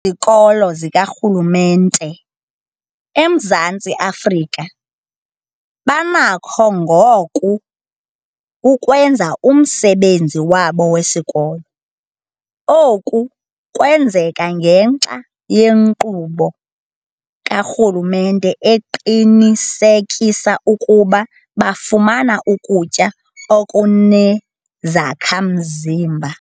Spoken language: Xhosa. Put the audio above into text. kolo zikarhulumente eMzantsi Afrika banakho ngoku ukwenza umsebenzi wabo wesikolo. Oku kwenzeka ngenxa yenkqubo karhulumente eqinisekisa ukuba bafumana ukutya okunezakha-mzimba.